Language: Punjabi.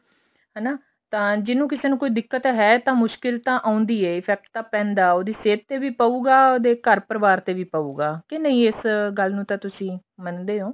ਹਨਾ ਤਾਂ ਜਿਹਨੂੰ ਕਿਸੇ ਨੂੰ ਕੋਈ ਦਿੱਕਤ ਹੈ ਤਾਂ ਮੁਸ਼ਕਿਲ ਤਾਂ ਆਉਂਦੀ ਹੈ effect ਤਾਂ ਪੈਂਦਾ ਹੈ ਉਹਦੀ ਸਹਿਤ ਤੇ ਵੀ ਪਾਉਗਾ ਉਹਦੇ ਘਰ ਪਰਿਵਾਰ ਤੇ ਵੀ ਪਉਗਾ ਕੇ ਨਹੀਂ ਇਸ ਗੱਲ ਨੂੰ ਤਾਂ ਤੁਸੀਂ ਮੰਨਦੇ ਹੋ